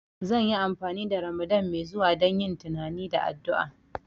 Zan yi amfani da Ramadan mai zuwa don yin tunani da addu'a